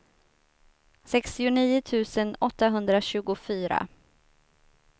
sextionio tusen åttahundratjugofyra